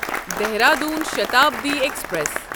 Dehradun Shatabdi express